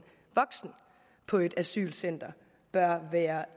voksen på et asylcenter bør være